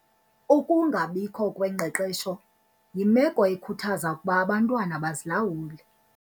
Ukungabikho kwengqeqesho yimelo ekhuthaza ukuba abantwana bazilawule.